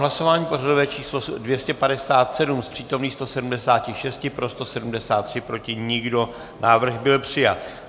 Hlasování pořadové číslo 257, z přítomných 176 pro 173, proti nikdo, návrh byl přijat.